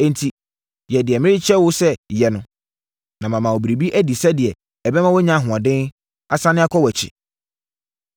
Enti, yɛ deɛ mɛkyerɛ wo sɛ yɛ no, na mama wo biribi adi sɛdeɛ ɛbɛma woanya ahoɔden, asane akɔ wʼakyi.”